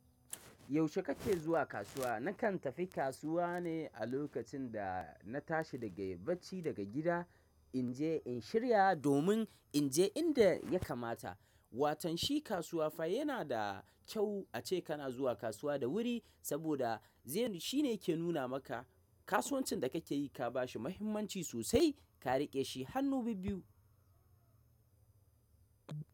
Yaushe kake zuwa kasuwa? Nakan tafi kasuwa ne a lokacin da na tashi daga bacci daga gida, in je in shirya domin in je inda ya kamata. Watanshi kasuwa fa yana da kyau ace kana zuwa kasuwa da wuri saboda zai shi ne ke nuna maka kasuwancin da kake yi ka ba shi muhimmanci sosai ka riƙe shi hannu bibbiyu.